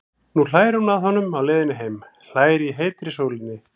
Nú hlær hún að honum á leiðinni heim, hlær í heitri sólinni.